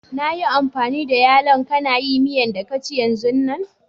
Na yi amfani da yallo'n ka na yi miyan da ka ci yanzun nan.